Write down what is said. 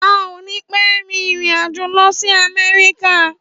À ò ní pẹ rin ìrínàjò lósì àmẹrìká.